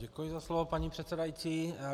Děkuji za slovo, paní předsedající.